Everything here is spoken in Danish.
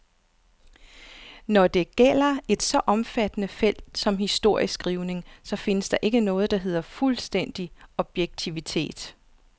Når det gælder et så omfattende felt som historieskrivningen, så findes der ikke noget, der hedder fuldstændig objektivitet.